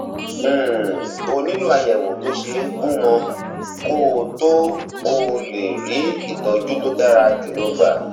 um o nílò àyẹwò tó ṣe gúnmọ kó o tó o tó lè rí ìtọjú tó dára jùlọ gbà